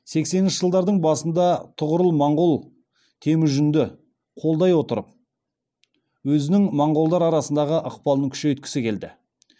сексенінші жылдардың басында тұғырыл монғол темүжінді қолдай отырып өзінің монғолдар арасындағы ықпалын күшейткісі келді